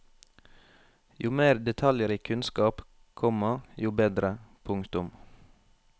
Jo mer detaljrik kunnskap, komma jo bedre. punktum